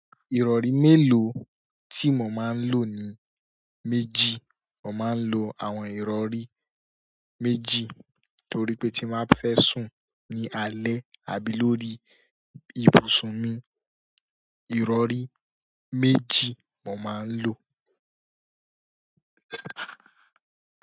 Ìrọ̀rí mélòó tí mo máa ń lò ni méjì. Mo máa ń lo àwọn ìrọ̀rí méjì torí pé tí máa fẹ́ sùn ní alẹ̀ àbí lórí ibùsùn mi, ìrọ̀rí méjì mo máa ń lò.